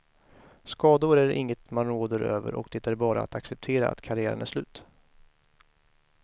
Skador är inget man råder över och det är bara att acceptera att karriären är slut.